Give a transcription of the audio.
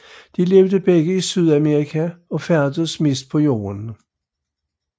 De lever begge i Sydamerika og færdes mest på jorden